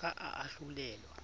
ka a ahlolelwa